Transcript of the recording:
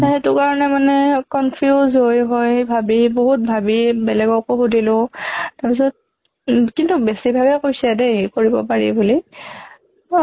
সেইটো কাৰণে মানে confuse হৈ হৈ ভাবি বহুত ভাবি বেলেগকো সুধিলো তাৰ পিছত উম কিন্তু বেছি ভাগে কৈছে দেই কৰিব পাৰি বুলি ৱা